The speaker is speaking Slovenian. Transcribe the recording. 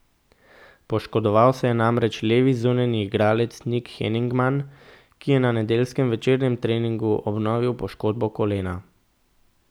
Poškodoval se je namreč levi zunanji igralec Nik Heningman, ki je na nedeljskem večernem treningu obnovil poškodbo kolena.